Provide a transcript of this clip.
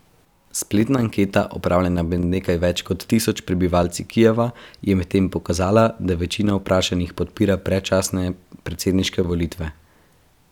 Spletna anketa, opravljena med nekaj več kot tisoč prebivalci Kijeva, je medtem pokazala, da večina vprašanih podpira predčasne predsedniške volitve.